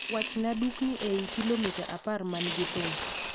Wachna dukni eiy kilomita apar mangi thum